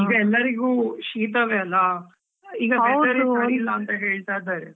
ಈಗ ಎಲ್ಲರಿಗು ಶೀತವೆಅಲ್ವಾ. weather ಸರಿ ಇಲ್ಲ ಅಂತ ಹೇಳ್ತಾ ಇದ್ದಾರೆ.